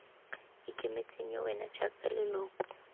ikemetseng yo wena jaaka leloko